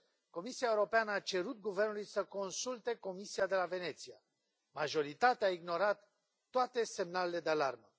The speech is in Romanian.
Comisia Europeană a cerut guvernului să consulte Comisia de la Veneția, majoritatea a ignorat toate semnalele de alarmă.